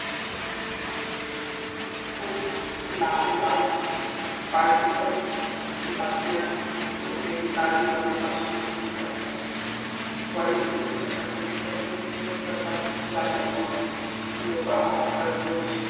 खूप लहान लहान particle ही आपल्या कोणत्याही ताजे हवे पासून नसतात वायु प्रदूषणाचा मोठा पूर्व प्रसार झाल्यामुळे लोक आता दररोज